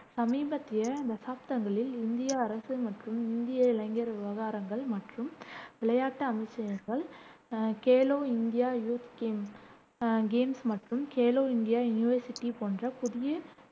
சமீபத்திய தசாப்தங்களில், இந்திய அரசு மற்றும் இந்திய இளைஞர் விவகாரங்கள் மற்றும் விளையாட்டு அமைச்சகங்கள், ah Khelo India youth games ah games மற்றும் கேலோ இந்தியா யுனிவர்சிட்டி போன்ற புதிய